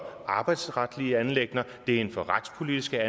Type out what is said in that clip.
arbejdsretlige anliggender det er inden for retspolitiske